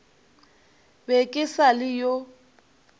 be ke sa le yo